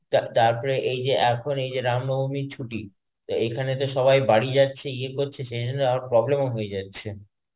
তা~ তারপরে এই যে এখন এই রাম নবমীর ছুটি তা এখানে তো সবাই বাড়ি যাচ্ছে ইয়ে করছে সেজন্যে আবার problem ও হয়ে যাচ্ছে.